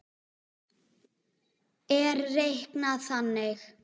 er reiknað þannig